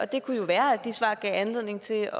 det kunne jo være at de svar gav anledning til